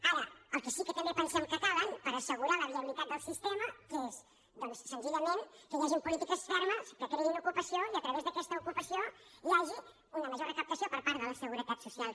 ara el que sí que també pensem que cal per assegurar la viabilitat del sistema és doncs senzillament que hi hagi polítiques fermes que creïn ocupació i a través d’aquesta ocupació hi hagi una major recaptació per part de la seguretat social